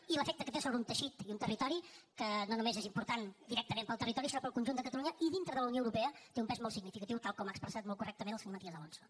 i l’efecte que té sobre un teixit i un territori que no només és important directament per al territori sinó per al conjunt de catalunya i dintre de la unió europea té un pes molt significatiu tal com ha expressat molt correctament el senyor matías alonso